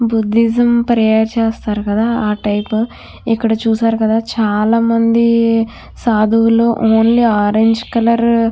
Buddhism prayer చేస్తారు కదా ఆ టైపు ఇక్కడ చూశారు కదా చాలామంది సాధువులు ఓన్లీ ఆరెంజ్ కలర్ --